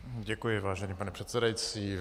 Děkuji, vážený pane předsedající.